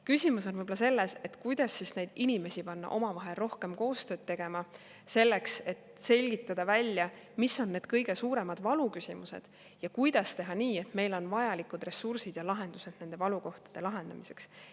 Küsimus on võib-olla selles, kuidas neid inimesi panna omavahel rohkem koostööd tegema, selleks et selgitada välja, mis on need kõige suuremad valuküsimused ja kuidas teha nii, et meil oleksid vajalikud ressursid ja lahendused nende valukohtade lahendamiseks.